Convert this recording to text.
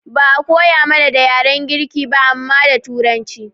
Ba'a koya mana da yaren girki ba amma da turanci